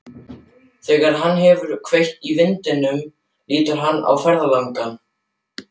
Þegar hann hefur kveikt í vindlinum lítur hann á ferðalang.